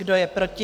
Kdo je proti?